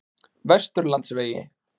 Vesturlandsvegi